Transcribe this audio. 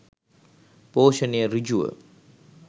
පෝෂණය සෘජුව